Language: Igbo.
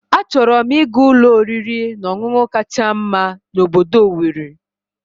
Achọrọ m ịga ụlọ oriri na ọṅụṅụ kacha mma na obodo Owerri